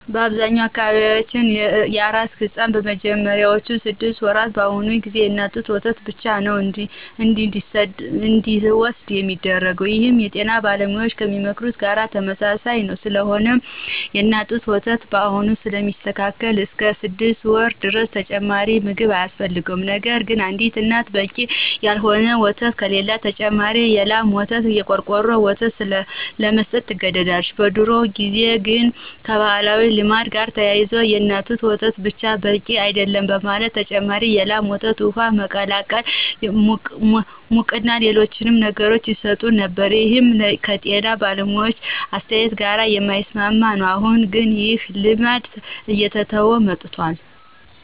በአብዛኛው በአካባቢያችን ለአራስ ሕፃን በመጀመሪያዎቹ ስድስት ወራት በአሁኑ ጊዜ የእናት ጡት ወተት ብቻ ነዉ እንዲወስድ ሚደረገው ይህም የጤና ባለሙያዎች ከሚመክሩት ጋር ተመሳሳይ ነዉ። ስለሆነም የእናት ጡት ወተት ሁሉንም ስለሚተካ እስከ ስድስት ወር ድረስ ተጨማሪ ምግብ አያስፈልግም። ነገርግን አንድ እናት በቂ ያልሆነ ወተት ከሌላት ተጨማሪ የላም ወይም የቆርቆሮ ወተት ለመስጠት ትገደዳለች። በድሮ ጊዜ ግን ከባህላዊ ልማድ ጋር ተያይዞ የእናት ጡት ወተት ብቻ በቂ አይደለም በማለት ተጨማሪ የላም ወተት፣ ውሃ፣ ሙቅና ሌሎችንም ነገሮች ይሰጡ ነበር ይህም ከጤና ባለሙያዎች አስተያየት ጋር የማይስማማ ነው። አሁን ግን ይህ ልማድ እየተተወ መጥቷል።